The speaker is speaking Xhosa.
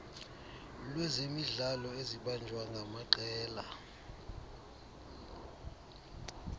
lwezemidlalo ezibanjwa ngamaqela